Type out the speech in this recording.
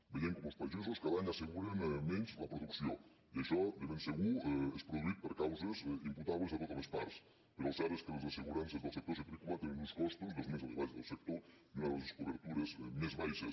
veiem com els pagesos cada any asseguren menys la producció i això de ben segur és produït per causes imputables a totes les parts però el cert és que les assegurances del sector citrícola tenen uns costos dels més elevats del sector i una de les cobertures més baixes